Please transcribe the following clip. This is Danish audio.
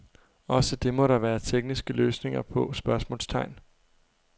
Også det må der være tekniske løsninger på? spørgsmålstegn